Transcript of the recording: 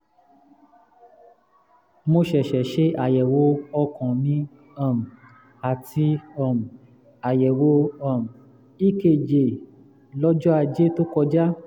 mo ṣẹ̀ṣẹ̀ ṣe àyẹ̀wò ọkàn mi um àti um àyẹ̀wò um ekg lọ́jọ́ ajé tó kọjá